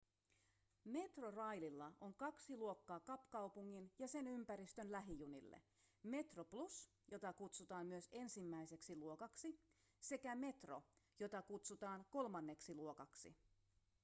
metroraililla on kaksi luokkaa kapkaupungin ja sen ympäristön lähijunille: metroplus jota kutsutaan myös ensimmäiseksi luokaksi sekä metro jota kutsutaan kolmanneksi luokaksi